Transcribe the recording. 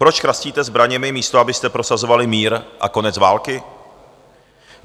Proč chrastíte zbraněmi, místo abyste prosazovali mír a konec války?